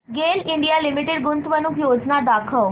गेल India Limited गुंतवणूक योजना दाखव